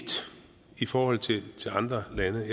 i forhold til andre lande